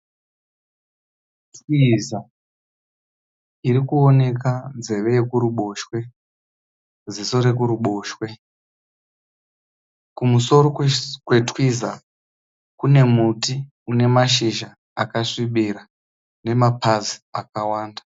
Twiza iri kuoneka nzeve yekuboshwe, ziso ekuruboshwe, kumusoro kwe twiza kune muti une mashizha akasvibira nemapazi akawanda.